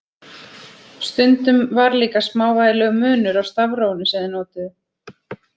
Stundum var líka smávægilegur munur á stafrófinu sem þeir notuðu.